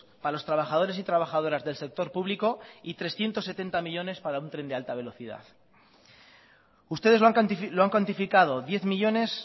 para los trabajadores y trabajadoras del sector público y trescientos setenta millónes para un tren de alta velocidad ustedes lo han cuantificado diez millónes